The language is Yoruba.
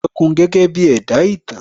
ẹranko gẹ́gẹ́ bí ẹ̀dá ìtàn